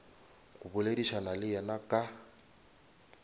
go boledišana le yena ka